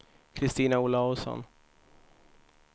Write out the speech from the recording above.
Christina Olausson